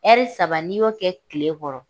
saba n'i kɛ tile kɔrɔ